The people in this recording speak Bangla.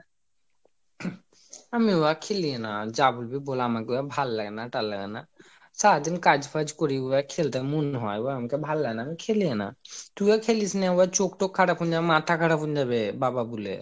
আমি ঐগুলা খেলি না যা বলবি বল আমাকে ওগুলা ভাল্লাগেনা সারাদিন কাজ ফাজ করি ঐগুলো খেলতে আর মন হয়না আবার মোকে ভাললাগেনা আমি খেলিনা তুই ও খেলিস না ঐও চোখ তখ খারাপ হয়ে যাবে মাথা খারাপ হয়ে যাবে বাবা বুলে